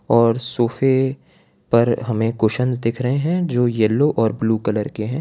और सोफे पर हमें कुसन दिख रहे है जो येलो ब्लू कलर के है।